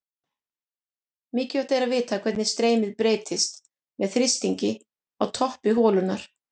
Mikilvægt er að vita hvernig streymið breytist með þrýstingi á toppi holunnar.